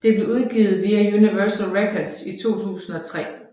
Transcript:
Det blev udgivet via Universal Records i 2003